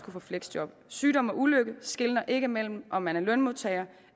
få fleksjob sygdom og ulykke skelner ikke mellem om man er lønmodtager